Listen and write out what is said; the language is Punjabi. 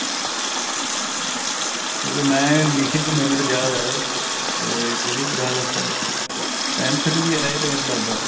ਕਿਉਂਕਿ ਮੈਂ ਲਿਖੇ ਹੋਏ ਹੈ ਮੇਰੇ ਯਾਦ ਆਇਆ ਇਹ ਕਿਹੜੀ ਕਲਾਸ tenth ਚ ਵੀ ਆਏ ਤੇ ਮੈਨੂੰ ਲੱਗਦਾ